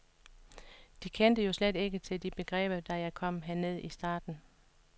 De kendte jo slet ikke til de begreber, da jeg kom herned i starten.